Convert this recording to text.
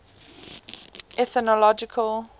ethnological